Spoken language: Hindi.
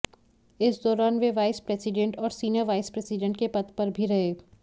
इस दौरान वे वाइस प्रेसीडेंट और सीनियर वाइस प्रेसीडेंट के पद पर भी रहे